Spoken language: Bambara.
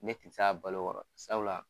Ne ti se a balo kɔrɔ ,sabula